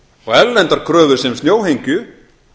og erlendar kröfur sem snjóhengju